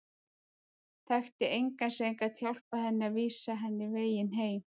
Þekkti engan sem gat hjálpað henni eða vísað henni veginn heim.